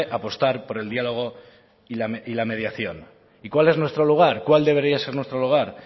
apostar por el diálogo y la mediación y cuál es nuestro lugar cuál debería ser nuestro lugar